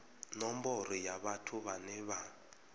nomboro ya vhathu vhane vha